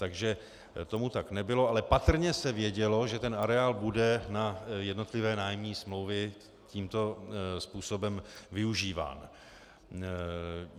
Takže tomu tak nebylo, ale patrně se vědělo, že ten areál bude na jednotlivé nájemní smlouvy tímto způsobem využíván.